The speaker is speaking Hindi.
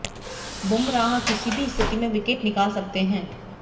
बुमराह किसी भी स्थिति में विकेट निकाल सकते हैं